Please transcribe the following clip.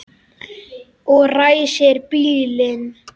Og ræsir bílinn.